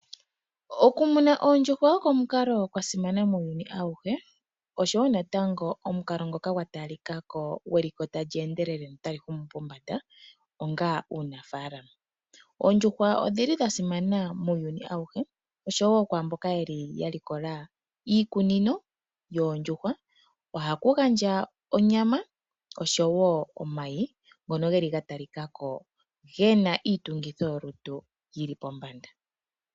Okumuna oondjuhwa oko omukalo gwa simana muuyuni awuhe oshowo natango omukalo ngoka gwa talika ko gweliko tali endelele notali humu pombanda onga uunafaalama. Oondjuhwa odhi li dha simana muuyuni awuhe oshowo kwaamboka yeli ya likola iikunino yoondjuhwa. Ohaku gandja onyama oshowo omayi ngono geli ga talika ko gena iitungithilutu yili pombanda.